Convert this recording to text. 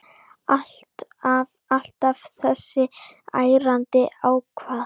Alltaf þessi ærandi hávaði.